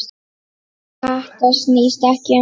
Þetta snýst ekki um skatta.